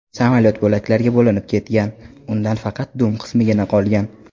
Samolyot bo‘laklarga bo‘linib ketgan, undan faqat dum qismigina qolgan.